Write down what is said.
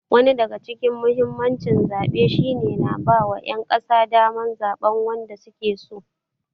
Wani daga cikin muhimmancin zaɓe shi ne na ba wa ƴan ƙasa daman zaɓan wanda suke so.